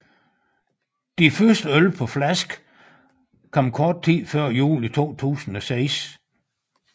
De første øl på flaske kom kort tid før jul 2006